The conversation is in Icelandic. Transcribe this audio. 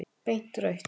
Beint rautt.